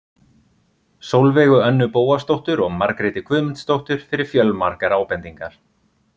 Sólveigu Önnu Bóasdóttur og Margréti Guðmundsdóttur fyrir fjölmargar ábendingar.